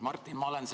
Martin!